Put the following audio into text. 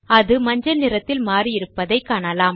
அது மஞ்சள் நிறத்தில் மாறியிருப்பதை காணலாம்